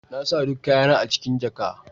Na sa duk kayana a cikin jaka.